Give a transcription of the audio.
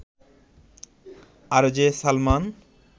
RJ Salman